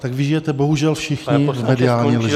Tak vy žijete bohužel všichni v mediální lži.